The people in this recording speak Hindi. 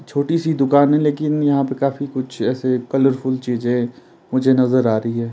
छोटी सी दुकान है लेकिन यहाँ पे काफी कुछ ऐसे कलरफुल चीजें मुझे नजर आ रही है।